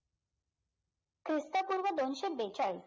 ख्रिस्तपूर्व दोनशे बेचाळीस